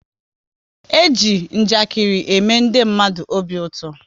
E ji njakiri ème ndị mmadụ obi ụtọ